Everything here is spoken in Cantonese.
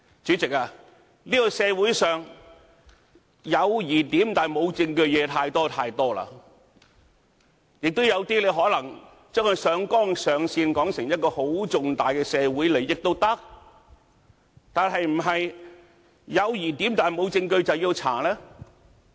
主席，這個社會上，有疑點但無證據的事實在太多，亦有些可能將它上綱上線，也可以說成一個很重大的社會利益，但是否"有疑點，無證據"，便要調查呢？